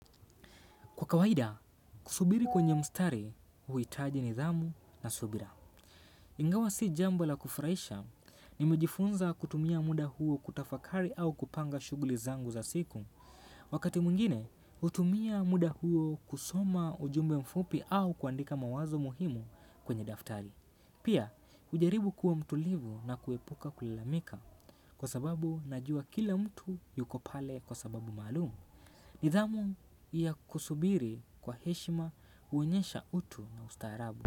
Kwa kawaida, kusubiri kwenye mstari, huitaji nidhamu na subira. Ingawa si jambo la kufraisha ni mejifunza kutumia muda huo kutafakari au kupanga shuguli zangu za siku. Wakati muingine, utumia muda huo kusoma ujumbe mfupi au kuandika mawazo muhimu kwenye daftari. Pia, ujaribu kuwa mtulivu na kuepuka kulalamika kwa sababu najua kila mtu yuko pale kwa sababu malumu. Nidhamu ya kusubiri kwa heshima uenyesha utu na ustaharabu.